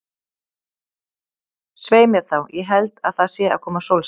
Svei mér þá, ég held að það sé að koma sólskin.